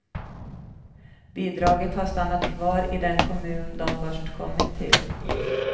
Bidraget har stannat kvar i den kommun de först kommit till.